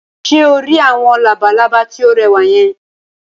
Ṣé o rí àwọn labalábá tí ó rẹwà yẹn?